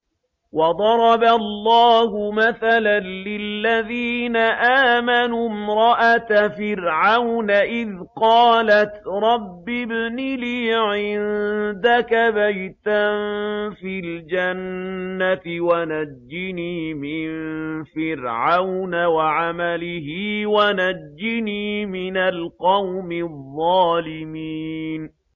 وَضَرَبَ اللَّهُ مَثَلًا لِّلَّذِينَ آمَنُوا امْرَأَتَ فِرْعَوْنَ إِذْ قَالَتْ رَبِّ ابْنِ لِي عِندَكَ بَيْتًا فِي الْجَنَّةِ وَنَجِّنِي مِن فِرْعَوْنَ وَعَمَلِهِ وَنَجِّنِي مِنَ الْقَوْمِ الظَّالِمِينَ